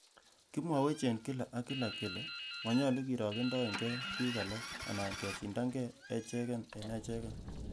Kimwowech en kila ak kila kele monyolu kirogendoen key bik alak anan kesindange echeken en echeken.